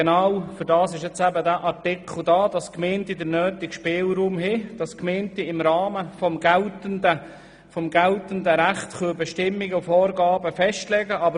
Genau dafür ist dieser Artikel da, damit die Gemeinden den nötigen Spielraum haben und im Rahmen des geltenden Rechts Bestimmungen und Vorgaben festlegen können.